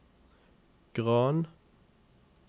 Gran